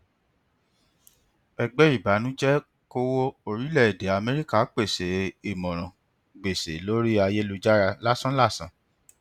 ẹgbẹ ìbànújẹkòwó orílẹèdè amẹríkà pèsè ìmọràn gbèsè lórí ayélujára lásánlàsán